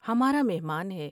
ہمارا مہمان ہے ۔